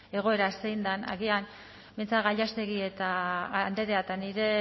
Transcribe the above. egoera zein den agian behintzat gallástegui andrea eta nire